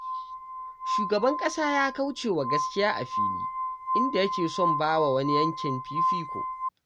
Shugaban ƙasa ya kauce wa gaskiya a fili, inda yake son ba wa wani yankin fifiko.